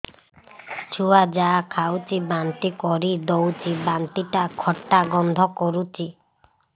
ଛୁଆ ଯାହା ଖାଉଛି ବାନ୍ତି କରିଦଉଛି ବାନ୍ତି ଟା ଖଟା ଗନ୍ଧ କରୁଛି